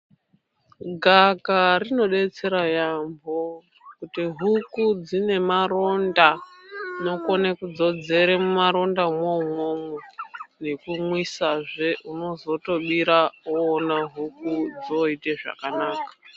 Gavakava rinodetsera yaamho kuti huku dzine maronda unokone kudzodzore mumarondamwo umwomwo nekumwisa zve unozotobira huku dzooite zvakanaka.